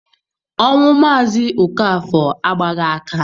Ọnwụ Mazi Okafor agbaghi aka